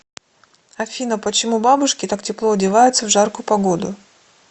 афина почему бабушки так тепло одеваются в жаркую погоду